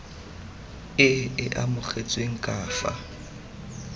e e amogetsweng ka fa